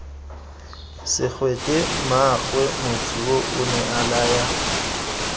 segwete mmaagwe motsu onea laya